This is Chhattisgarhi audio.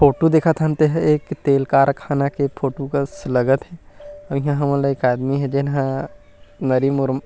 फोटो दिखत हन तेह एक तेल कारखाना के फोटो कस लगत हे इहाँ हमनला एक झन आदमी हे तेन हा नरीमुरुम --